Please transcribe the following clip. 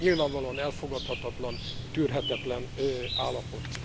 Ez nyilvánvalóan elfogadhatatlan, tűrhetetlen állapot.